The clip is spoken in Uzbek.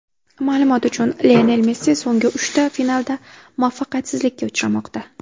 Ma’lumot uchun, Lionel Messi so‘nggi uchta finalda muvaffaqiyatsizlikka uchramoqda.